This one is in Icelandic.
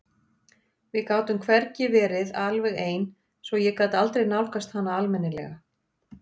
Við gátum hvergi verið alveg ein svo ég gat aldrei nálgast hana almennilega.